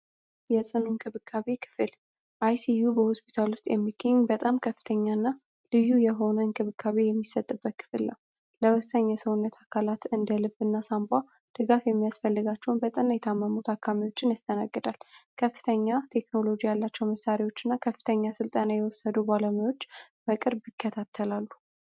የጽኑ እንክብካቤ ክፍል icu በሆስፒታል ውስጥ የሚገኝ በጣም ከፍተኛ እና ልዩ የሆነ እንክብካቤ የሚሰጥበት ክፍል ነው ።ለወሰኝ የሰውነት አካላት እንደልብ እና ሳንቧ ድጋፍ የሚያስፈልጋቸውን በጠና የታመሙ ታካሚዎችን ያስተናግዳል ።በከፍተኛ ቴክኖሎጂ ያላቸው መሳሪዎች እና ከፍተኛ ሥልጣና የወሰዱ ሃኪሞች በቅርብ ይከታተላቸዋል።